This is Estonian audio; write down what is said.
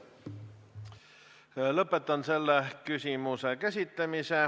Lõpetan selle küsimuse käsitlemise.